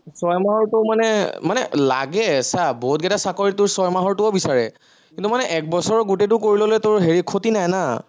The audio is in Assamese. ছয়মাহৰটো মানে, মানে লাগে চা, বহুতকেইটা চাকৰিত তোৰ ছয়মাহৰটোও বিচাৰে, কিন্তু মানে একবছৰৰ গোটেইটো কৰি ললে হেৰি তোৰ ক্ষতি নাই না